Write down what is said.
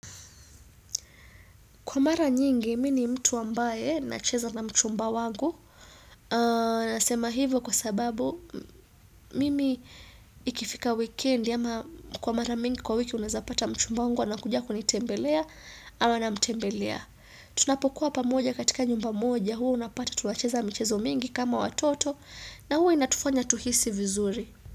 Kwa mara nyingi, mimi mtu ambaye nacheza na mchumba wangu. Nasema hivo kwa sababu, mimi ikifika weekend ama kwa mara mingi kwa wiki unaezapata mchumba wangu ana kuja kunitembelea ama namtembelea. Tunapokuwa pamoja katika nyumba moja, huu unapata tunacheza michezo mingi kama watoto na huwa inatufanya tuhisi vizuri.